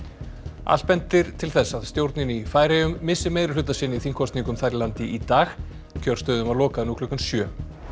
allt bendir til þess að stjórnin í Færeyjum missi meirihluta sinn í þingkosningum þar í landi í dag kjörstöðum var lokað nú klukkan sjö